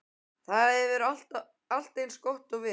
Það hefur allt eins og við.